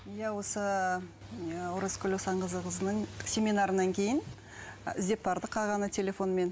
иә осы ы оразкүл асанқызының семинарынан кейін іздеп бардық ағаны телефонмен